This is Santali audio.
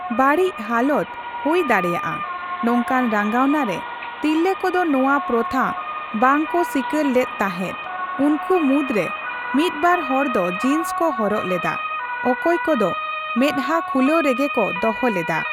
ᱵᱟᱹᱲᱤᱡ ᱦᱟᱞᱚᱛ ᱦᱳᱭ ᱫᱟᱲᱮᱭᱟᱜᱼᱟ ᱱᱚᱝᱠᱟᱱ ᱨᱟᱸᱜᱟᱣᱱᱟ ᱨᱮ ᱛᱤᱨᱞᱟᱹ ᱠᱚᱫᱚ ᱱᱚᱣᱟ ᱯᱨᱚᱛᱷᱟ ᱵᱟᱝᱠᱚ ᱥᱤᱠᱟᱹᱨ ᱞᱮᱫ ᱛᱟᱦᱮᱫ, ᱩᱱᱠᱩ ᱢᱩᱫᱽ ᱨᱮ ᱢᱤᱫᱵᱟᱨ ᱦᱚᱲ ᱫᱚ ᱡᱤᱱᱥ ᱠᱚ ᱦᱚᱨᱚᱜ ᱞᱮᱫᱟ, ᱚᱠᱚᱭ ᱠᱚᱫᱚ ᱢᱮᱫᱦᱟ ᱠᱷᱩᱞᱟᱹᱣ ᱨᱮᱜᱮ ᱠᱚ ᱫᱚᱦᱚ ᱞᱮᱫᱟ ᱾